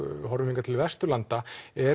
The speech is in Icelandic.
horfum hingað til Vesturlanda